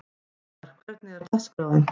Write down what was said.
Hildar, hvernig er dagskráin?